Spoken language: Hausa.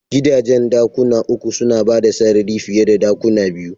Gidajen dakuna uku suna bada sarari fiye da dakuna biyu.